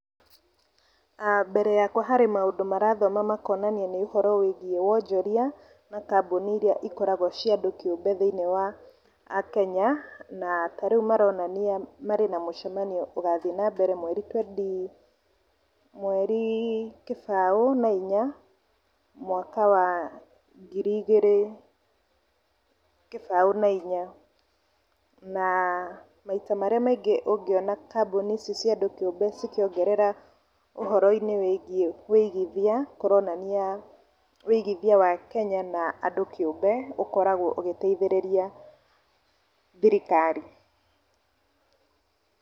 ah mbere yakwa harĩ maũndũ marathoma makonania ũhoro wĩgiĩ wonjoria na kambũni iria ikoragwo cia andũ kĩũmbe thĩiniĩ wa akenya, na tarĩu maronania marĩ na mũcemanio ũgathiĩ na mbere mweri twendi, mweri kĩbao na inya mwaka wa ngiri igĩrĩ kĩbao na inya, na maita marĩa maingĩ ũngĩona kambũni ici cia andũ kĩũmbe cikĩongerera ũhoro-inĩ wĩgiĩ wĩigithia , kũronania wĩigithia wa Kenya na andũ kĩũmbe ũkoragwo ũgĩteithĩrĩria thirikari.